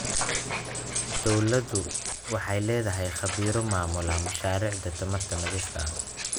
Dawladdu waxay la'dahay khabiiro maamula mashaariicda tamarta nadiifka ah.